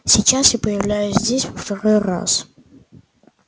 сейчас я появляюсь здесь во второй раз